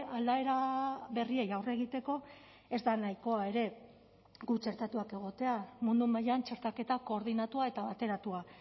aldaera berriei aurre egiteko ez da nahikoa ere gu txertatuak egotea mundu mailan txertaketa koordinatua eta bateratua